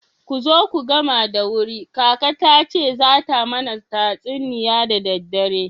Kuzo mu gama da wuri kaka tace zata mana tatsuniya da daddare.